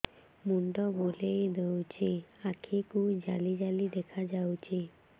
ମୁଣ୍ଡ ବୁଲେଇ ଦେଉଛି ଆଖି କୁ ଜାଲି ଜାଲି ଦେଖା ଯାଉଛି